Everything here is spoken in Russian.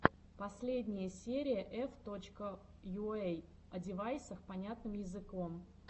последняя серия эф точка йуэй о девайсах понятным языком